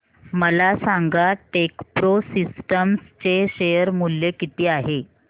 मला सांगा Techpro systems चे शेअर मूल्य किती आहे